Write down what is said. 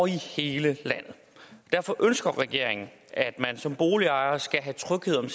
hele landet derfor ønsker regeringen at man som boligejer skal have tryghed om